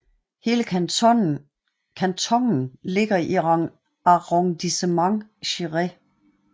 Hele kantonen ligger i Arrondissement Céret